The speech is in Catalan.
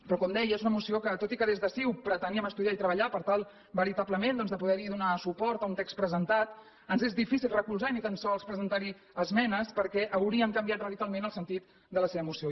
però com deia és una moció que tot i que des de ciu preteníem estudiar i treballar per tal veritablement doncs de poder donar suport a un text presentat ens és difícil recolzar i ni tan sols presentar hi esmenes perquè hauria canviat radicalment el sentit de la seva moció